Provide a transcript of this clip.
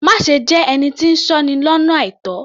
Má ṣe jẹ́ ẹni tí ń sọ́ni lọ́nà àìtó